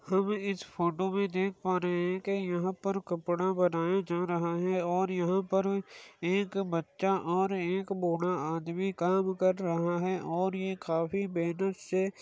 हम इस फ़ोटो में देख पा रहे है कि यहाँ पर कपड़ा बनाया जा रहा है और यहाँ पर एक बच्चा और एक बूढ़ा आदमी काम कर रहा है और ये काफी मेहनत से--